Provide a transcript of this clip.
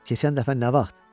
"Keçən dəfə nə vaxt?"